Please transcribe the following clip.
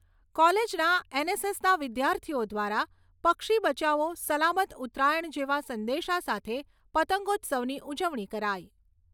કોલેજના એનએસએસના વિદ્યાર્થીઓ દ્વારા પક્ષી બચાવો સલામત ઉતરાયણ જેવા સંદેશા સાથે પતંગોત્સવની ઉજવણી કરાઈ.